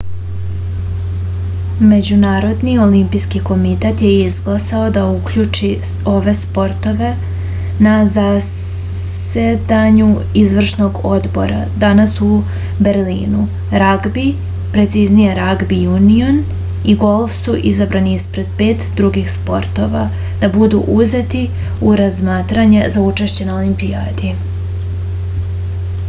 međunarodni olimpijski komitet je izglasao da uključi ove sportove na zasedanju izvršnog odbora danas u berlinu ragbi preciznije ragbi junion i golf su izabrani ispred pet drugih sportova da budu uzeti u razmatranje za učešće na olimpijadi